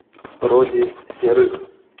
роде серых